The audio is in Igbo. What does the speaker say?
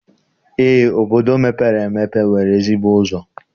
eé, obodo mepere emepe nwere ezigbo ụzọ.